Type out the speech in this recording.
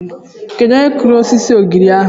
Onye kụrụ osisi ogirisi ahụ?